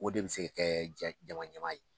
O de bɛ se ka kɛ jama ɲɛmaa ye